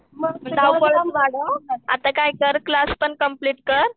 धावपळ वाढावं हं आता काय कर क्लास पण कर